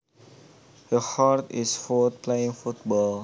He hurt his foot playing football